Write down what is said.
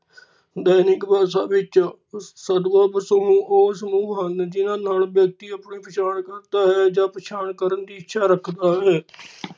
ਦੈਨਿਕ ਭਾਸ਼ਾ ਵਿਚ ਸਦਬੱਬ ਸਮੂਹ ਓਹ ਸਮੂਹ ਹਨ ਜਿਨਾਂ ਨਾਲ ਵਿਅਕਤੀ ਆਪਣੀ ਪਛਾਣ ਕਰਦਾ ਹੈ ਜਾਂ ਪਛਾਣ ਕਰਨ ਦੀ ਇੱਛਾ ਰੱਖਦਾ ਹੈ .